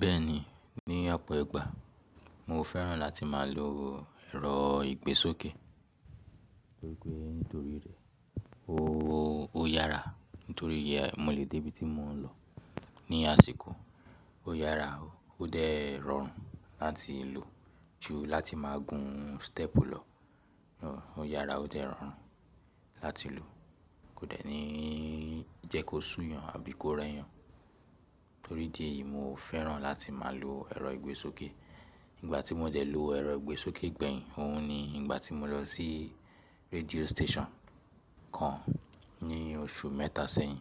Bẹ́ẹ̀ni, ní ọ̀pọ̀ ìgbà mo fẹ́ràn láti má a lo ẹ̀rọ ìgbésókè, torí pe ó yára nítorí mo lè dé ibi tí mo ń lọ ní àsìkò. Ó yára o, ó dẹ rọ̀rùn láti lò ju láti máa gùn step lọ. Ó yára ó odẹ rọ̀rùn láti lò, kò dẹ̀ ní jẹ́ kó súyan àbí kó rẹ́yàn. Torí idi yí, mo fẹ́ràn láti máa lo ẹ̀rọ ìgbésókè. Ìgbà tí mo dẹ lo ẹ̀rọ ìgbésókè gbẹ̀yìn, òhun ni ìgbà tí mo lọ sí radio station kan ní oṣù mẹ́ta sẹ́yìn.